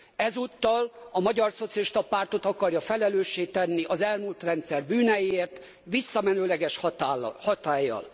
Ezúttal a Magyar Szocialista Pártot akarja felelőssé tenni az elmúlt rendszer bűneiért visszamenőleges hatállyal.